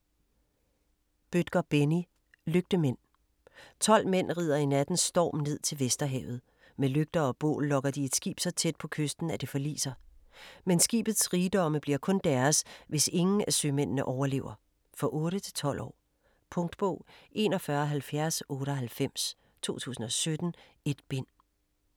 Bødker, Benni: Lygtemænd 12 mænd rider i nattens storm ned til Vesterhavet. Med lygter og bål lokker de et skib så tæt på kysten at det forliser. Men skibets rigdomme bliver kun deres, hvis ingen af sømændene overlever. For 8-12 år. Punktbog 417098 2017. 1 bind.